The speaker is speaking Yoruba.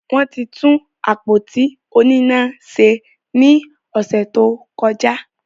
Wọ́n ti tún àpótí oníná se ní ọ̀sẹ̀ tó kọjá.